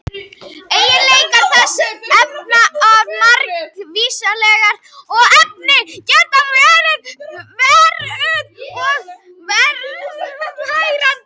Eiginleikar þessara efna eru margvíslegir og efnin geta verið eitruð og tærandi.